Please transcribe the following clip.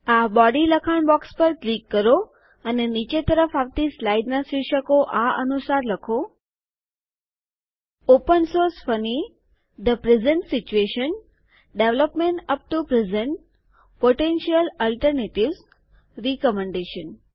આ બોડી લખાણ બોક્સ પર ક્લિક કરો અને નીચે તરફ આવતી સ્લાઇડોના શિર્ષકો આ અનુસાર લખો open source funny the present situation development up to present potential alternatives recommendation